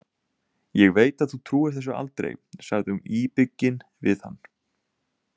Ég veit að þú trúir þessu aldrei, sagði hún íbyggin við hann.